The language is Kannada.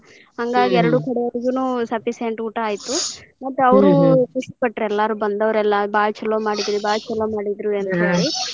ಹಂಗಾಗಿ ಎರಡು ಕಡೆದವ್ರಿಗೂನು sufficient ಊಟಾ ಆಯ್ತು ಮತ್ತ್ ಅವ್ರು ಖುಷಿ ಪಟ್ತ್ರ ಎಲ್ಲಾರು ಬಂದವ್ರೆಲ್ಲಾ ಬಾಳ ಚೊಲೊ ಮಾಡಿದ್ರಿ ಬಾಳ್ ಚೊಲೊ ಮಾಡಿದ್ರಿ ಅಂತ ಹೇಳಿ .